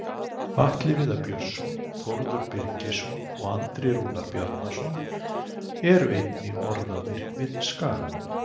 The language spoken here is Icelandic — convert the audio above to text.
Atli Viðar Björnsson, Þórður Birgisson og Andri Rúnar Bjarnason eru einnig orðaðir við Skagamenn.